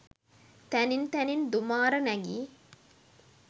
තැනින් තැනින් දුමාර නැගි